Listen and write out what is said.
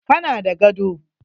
Ka na da gado?